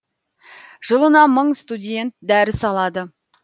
жылына мың студент дәріс алады